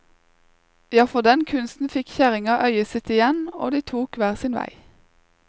Ja, for den kunsten fikk kjerringa øyet sitt igjen, og de tok hver sin vei.